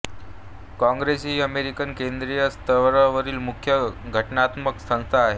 काँग्रेस ही अमेरिकन केंद्रीय स्तरावरील मुख्य घटनात्मक संस्था आहे